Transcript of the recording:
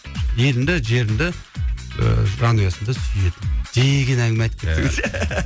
еліңді жеріңді ыыы жанұясын да сүйеді